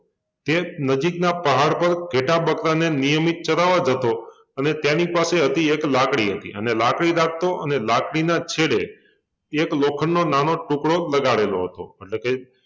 એક નજીકના પહાડ પર ઘેંટા-બકરાંંને નિયમિત ચરાવવા જતો અને તેની પાસે હતી એક લાકડી હતી અને લાકડી રાખતો અને લાકડીના છેડે એક લોખંડનો નાનો ટૂકડો લગાડેલો હતો એટલે કે